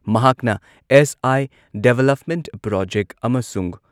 ꯃꯍꯥꯛꯅ S I. Development project ꯑꯃꯁꯨꯡ